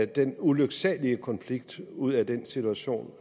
den ulyksalige konflikt ud af den situation